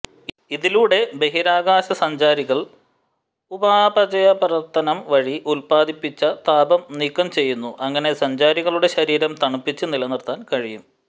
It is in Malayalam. ഇതിലൂടെ ബഹിരാകാശസഞ്ചാരികൾ ഉപാപചയപ്രവർത്തനം വഴി ഉത്പാദിപ്പിച്ച താപം നീക്കംചെയ്യുന്നു അങ്ങനെ സഞ്ചാരികളുടെ ശരീരം തണുപ്പിച്ച് നിലനിർത്താൻ കഴിയും